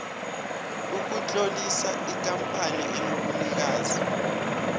ukutlolisa ikampani enobunikazi